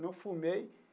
Não fumei.